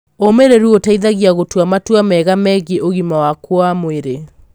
ũmĩrĩru ũteithagĩa gũtua matua mega megiĩ ũgima waku wa mwĩrĩ.